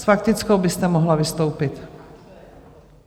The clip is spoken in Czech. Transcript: S faktickou byste mohla vystoupit.